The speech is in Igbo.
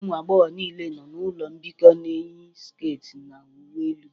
Ụmụ agbọghọ niile nọ n'ụlọ mbikọ na-eyi sket na uwe elu